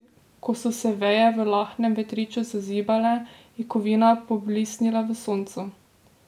Ko so se veje v lahnem vetriču zazibale, je kovina poblisnila v soncu.